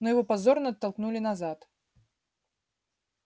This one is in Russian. но его позорно оттолкнули назад